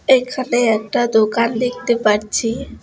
এইখানে একটা দোকান দেখতে পাচ্ছি।